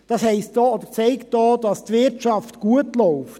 Das heisst auch oder zeigt auch, dass die Wirtschaft gut läuft.